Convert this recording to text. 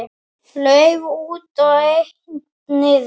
Lauf út og einn niður.